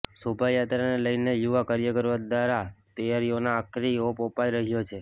શોભાયાત્રાને લઈને યુવા કાર્યકરો દ્વારા તૈયારીઓને આખરી ઓપ અપાઈ રહ્યો છે